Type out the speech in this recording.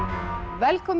velkomin